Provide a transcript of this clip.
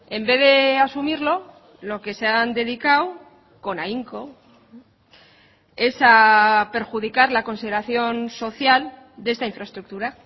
en vez de asumirlo lo que se han dedicado con ahínco es a perjudicar la consideración social de esta infraestructura